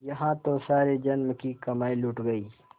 यहाँ तो सारे जन्म की कमाई लुट गयी